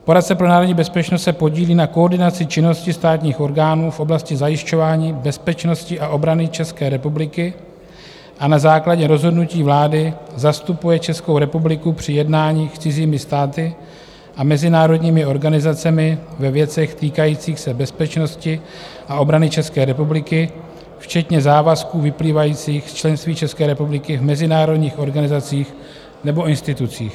Poradce pro národní bezpečnost se podílí na koordinaci činnosti státních orgánů v oblasti zajišťování bezpečnosti a obrany České republiky a na základě rozhodnutí vlády zastupuje Českou republiku při jednáních s cizími státy a mezinárodními organizacemi ve věcech týkajících se bezpečnosti a obrany České republiky, včetně závazků vyplývajících z členství České republiky v mezinárodních organizacích nebo institucích.